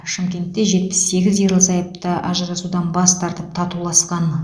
шымкентте жетпіс сегіз ерлі зайыпты ажырасудан бас тартып татуласқан